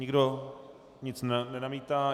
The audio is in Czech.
Nikdo nic nenamítá.